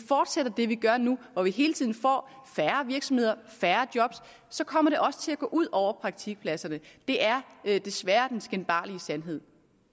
fortsætter det vi gør nu hvor vi hele tiden får færre virksomheder og færre job kommer det også til at gå ud over praktikpladserne det er desværre den skinbarlige sandhed